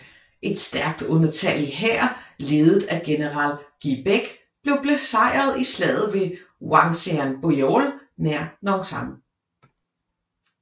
Et stærkt undertallig hær ledet af general Gyebaek blev besejret i slaget ved Hwangsanbeol nær Nonsan